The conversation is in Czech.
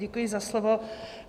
Děkuji za slovo.